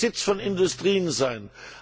Er könnte der Sitz von Industrien sein.